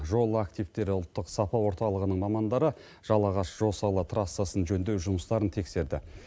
жол активтері ұлттық сапа орталығының мамандары жалағаш жосалы трассасын жөндеу жұмыстарын тексерді